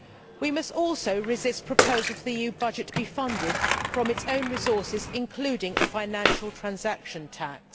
We must also resist proposals for the EU budget to be funded from its own resources, including a financial transaction tax.